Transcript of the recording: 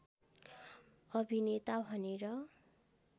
अभिनेता भनेर